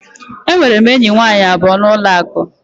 Enwere m enyi nwanyị abụọ na ụlọ akụ.